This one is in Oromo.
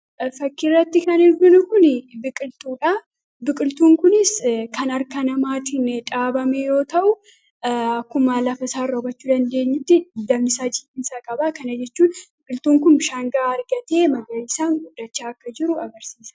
Fakkiirratti kan arginu kun biqiltuudha. Biqiltuun kun kan harka namaatiin dhaabamee fi akkuma lafa isaarraa hubachuu dandeenyutti biqiltuun kun bishaan gahaa argatee isaan guddachaa jiru ibsa.